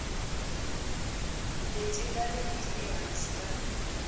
leti nga riki ehansi ka